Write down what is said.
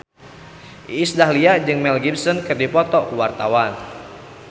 Iis Dahlia jeung Mel Gibson keur dipoto ku wartawan